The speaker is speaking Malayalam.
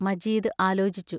മജീദ് ആലോചിച്ചു.